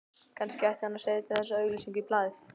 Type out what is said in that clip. Kannski ætti hann að setja þessa auglýsingu í blaðið